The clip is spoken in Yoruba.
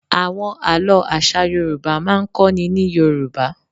Àwọn àlọ́ àṣà Yorùbá máa ń kọ́ ni ní Yorùbá.